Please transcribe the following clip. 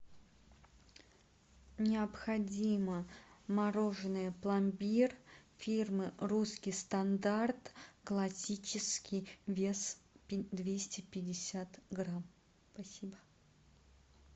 необходимо мороженое пломбир фирмы русский стандарт классический вес двести пятьдесят грамм спасибо